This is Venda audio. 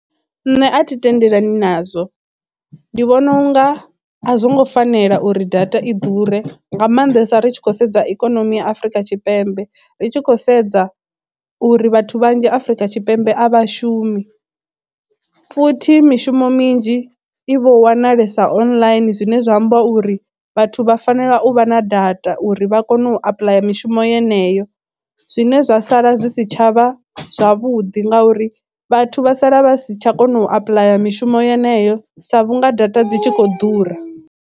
Nṋe a thi tendelani nazwo, ndi vhona unga a zwo ngo fanela uri data i ḓure nga maanḓesa ri tshi khou sedza ikonomi ya afurika tshipembe ri tshi khou sedza uri vhathu vhanzhi Afrika Tshipembe a vha shumi futhi mishumo minzhi i vho wanalesa online zwine zwa amba uri vhathu vha fanela u vha na data uri vha kone u apuḽaya mishumo yeneyo zwine zwa sala zwi si tshavha zwavhuḓi ngauri vhathu vha sala vha si tsha kona u apuḽaya mishumo yeneyo sa vhunga data dzi tshi khou ḓura.